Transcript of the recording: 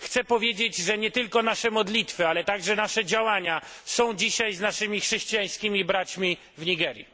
Chcę powiedzieć, że nie tylko nasze modlitwy, ale także nasze działania są dzisiaj z naszymi chrześcijańskimi braćmi w Nigerii.